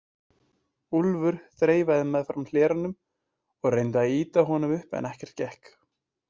Úlfur þreifaði meðfram hleranum og reyndi að ýta honum upp en ekkert gekk.